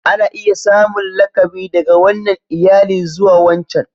Ana iya samun lakabi daga wannan iyali zuwa wancan.